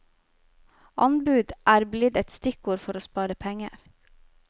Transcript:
Anbud er blitt et stikkord for å spare penger.